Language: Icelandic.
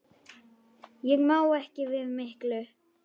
Ég má ekki við miklu.